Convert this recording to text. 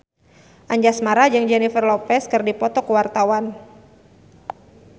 Anjasmara jeung Jennifer Lopez keur dipoto ku wartawan